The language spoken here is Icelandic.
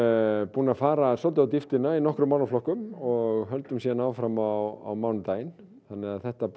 búin að fara svolítið á dýptina í nokkrum málaflokkum og höldum síðan áfram á mánudaginn þannig að þetta